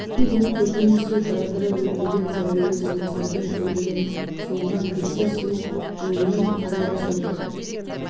өткен күні көрген түсі тағдыры өртеген сәулелі суреттердің күліне суынған кекісе сұлық көңілмен қарайды сол бір